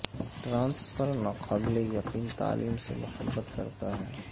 trans پر ناقابل یقین تعلیم سے محبت کرتا ہے